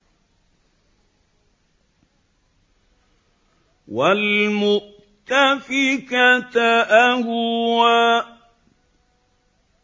وَالْمُؤْتَفِكَةَ أَهْوَىٰ